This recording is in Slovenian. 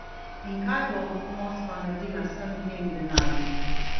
In kaj bo Moskva naredila z vsem tem denarjem?